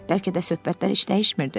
Bəlkə də söhbətlər heç dəyişmirdi.